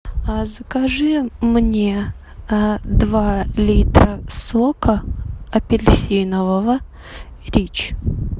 а закажи мне два литра сока апельсинового рич